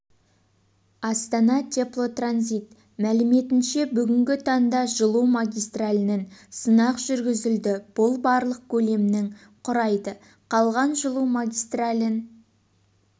астана теплотранзит мәліметінше бүгінгі таңда жылу магистралінің сынақ жүргізілді бұл барлық көлемнің құрайды қалған жылу магистралін